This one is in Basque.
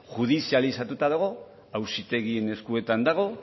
judizializatuta dago auzitegien eskuetan dago